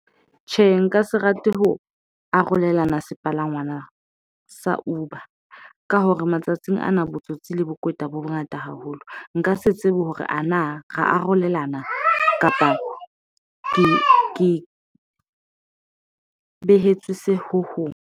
Tjhe, nka se rate ho arolelana sepalangwang na sa Uber ka hore matsatsing ana botsotsi le bokweta bo bongata haholo, nka se tsebe hore ana ra arolelana kapa ke ke behetswe ho hong.